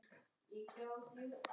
Rúllur í hárinu.